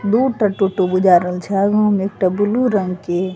दू टा टोटो बूझा रहल छे उहो में एकटा ब्लू रंग के --